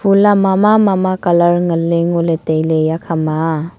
phul a mama colour ngan ley ngo ley tai ley eya khama a.